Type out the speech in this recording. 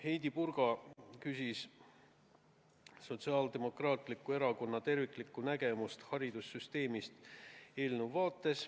Heidi Purga küsis eelnõust lähtudes, milline on Sotsiaaldemokraatliku Erakonna terviklik nägemus haridussüsteemist.